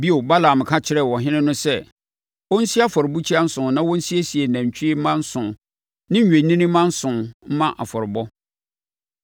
Bio, Balaam ka kyerɛɛ ɔhene no sɛ ɔnsi afɔrebukyia nson na ɔnsiesie nantwie mma nson ne nnwennini mma nson mma afɔrebɔ.